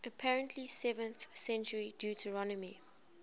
apparently seventh century deuteronomy